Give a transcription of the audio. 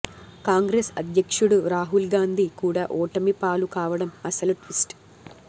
కాంగ్రెస్ అధ్యక్షుడు రాహుల్ గాంధీ కూడా ఓటమి పాలు కావడం అసలు ట్విస్ట్